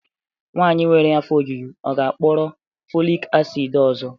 Nwanyị nwere afọ ojuju ọ ga-akpọrọ folic acid ọzọ?